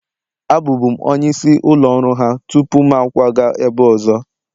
Abụbu'm onye isi ụlọ ọrụ ha tupu m akwaga ebe ọzọ